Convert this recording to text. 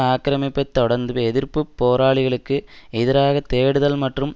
ஆக்கிரமிப்பைத் தொடர்ந்து எதிர்ப்பு போராளிகளுக்கு எதிராக தேடுதல் மற்றும்